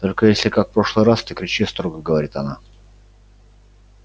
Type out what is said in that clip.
только если как в прошлый раз ты кричи строго говорит она